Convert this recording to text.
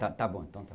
Tá tá bom então, tá.